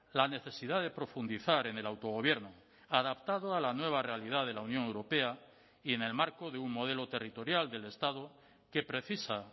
la necesidad de profundizar en el autogobierno adaptado a la nueva realidad de la unión europea y en el marco de un modelo territorial del estado que precisa